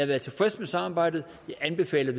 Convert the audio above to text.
været tilfreds med samarbejdet jeg anbefaler